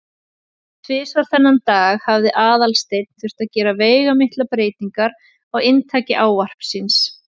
Tvisvar þennan dag hafði Aðalsteinn þurft að gera veigamiklar breytingar á inntaki ávarps síns.